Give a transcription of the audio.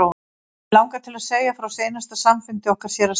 Mig langar til að segja frá seinasta samfundi okkar séra Sigurðar.